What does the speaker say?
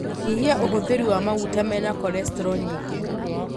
Nyihia ũhũthĩri wa maguta mena cholesterol nyingĩ